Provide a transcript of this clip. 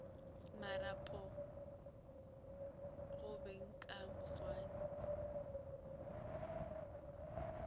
marapo go beng ka moswane